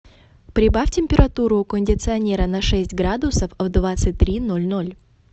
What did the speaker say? прибавь температуру у кондиционера на шесть градусов в двадцать три ноль ноль